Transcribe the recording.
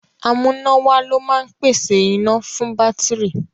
Amúnáwá ló máa ń pèsè iná fún bátìrì.